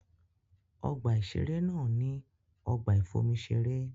Ọgbà-ìṣeré náà ní ọgbà-ìfomiṣeré.